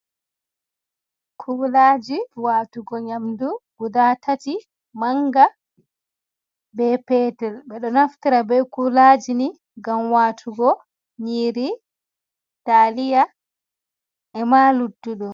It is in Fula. Kuulaji watugo nyamdu guda tati, manga be petel. Ɓe ɗo naftara be kuulaji ni ngam waatugo nyiiri taliya e ma luttuɗum.